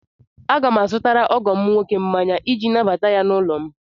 Aga m azụtara ọgọ m nwoke mmanya iji nabata ya n'ụlọ m.